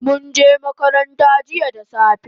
Munje makaranta jiya da safe